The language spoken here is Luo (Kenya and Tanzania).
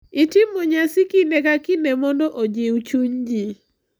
itimo nyasi kinde ka kinde mondo ojiw chuny ji,